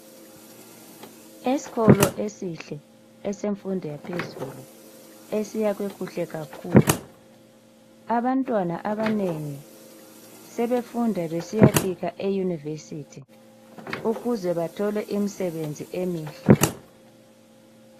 Esikolo esihle esemfundo yaphezulu esiyakhwe kuhle kakhulu abantwana abanengi sebefunda besiya fika eyunivesithi ukuze bathole imsebenzi eminhle.